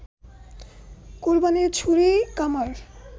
কোরবানির ছুরি কামার